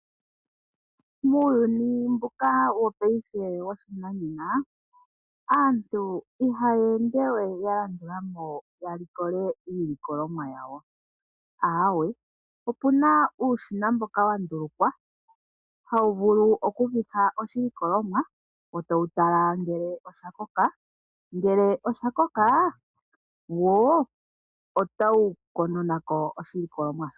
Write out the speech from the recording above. Muuyuni mbuka wopaife wo pashinanena aantu ihaya ende we ya landula mo ya likole iilikolomwa yawo. Aawe, opu na uushina mboka wa ndulukwa hawu vulu okukutha oshilikolomwa wo ta wu tala ngele osha koka. Ngele osha koka wo ota wu kononako oshilikolomwa shoka.